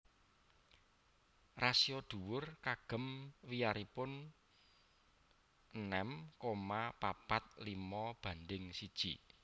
Rasio dhuwur kagem wiyaripun enem koma papat limo banding siji